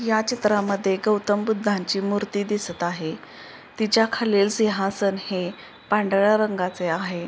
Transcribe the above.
या चित्रामध्ये गौतम बुद्धांची मूर्ती दिसत आहे तिच्या खालील सिंहासन हे पांढऱ्या रंगाचे आहे.